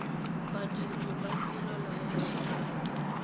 badiri ba tirelo ya set